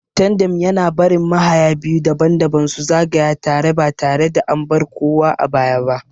Tandem yana barin mahaya biyu daban-daban su zagaya tare ba tare da an bar kowa a baya ba.